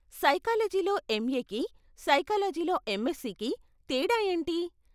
సైకాలజీలో ఎంఏకి, సైకాలజీలో ఎంఎస్సీకీ తేడా ఏంటి?